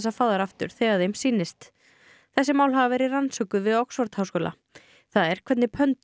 fá þær aftur þegar þeim sýnist þessi mál hafa verið rannsökuð við Oxford háskóla það er hvernig